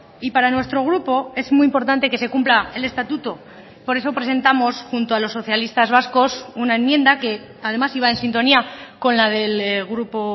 y para nuestro grupo es muy importante que se cumpla el estatuto por eso presentamos junto a los socialistas vascos una enmienda que además iba en sintonía con la del grupo